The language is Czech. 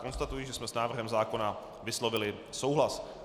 Konstatuji, že jsme s návrhem zákona vyslovili souhlas.